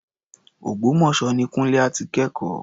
Ògbómọ̀ṣọ́ ni Kúńlé á ti kẹ́kọ̀ọ́.